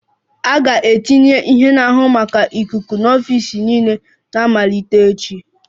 A ga-etinye ihe na-ahụ maka ikuku n'ọfịs niile na-amalite echi